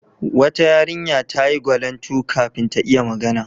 Wata yarinya ta yi gwalantu kafin ta iya magana.